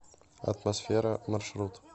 атмосфера маршрут